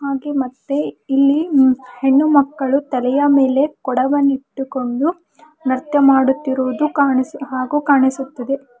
ಹಾಗೆ ಮತ್ತೆ ಇಲ್ಲಿ ಹೆಣ್ಣುಮಕ್ಕಳು ತಲೆಯ ಮೇಲೆ ಕೊಡವನ್ನಿಟ್ಟುಕೊಂಡು ನೃತ್ಯ ಮಾಡುತ್ತಿರುವುದು ಕಾಣಿಸು ಹಾಗು ಕಾಣಿಸುತ್ತಿದೆ.